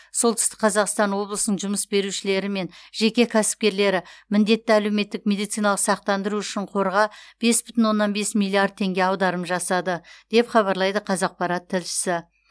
солтүстік қазақстан облысының жұмыс берушілері мен жеке кәсіпкерлері міндетті әлеуметтік медициналық сақтандыру үшін қорға бес бүтін оннан бес миллиард теңге аударым жасады деп хабарлайды қазақпарат тілшісі